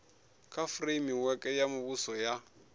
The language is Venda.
kha fureimiweke ya muvhuso ya